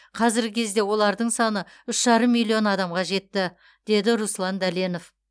қазіргі кезде олардың саны үш жарым миллион адамға жетті деді руслан дәленов